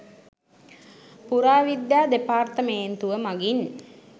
පුරාවිද්‍යා දෙපාර්තමේන්තුව මඟින්